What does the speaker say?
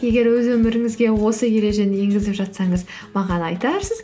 егер өз өміріңізге осы ережені енгізіп жатсаңыз маған айтарсыз